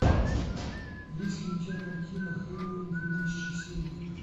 есть ли у тебя картина хэллоуин две тысячи семь